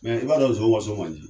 Mɛ i b'a dɔn nso ka so man di,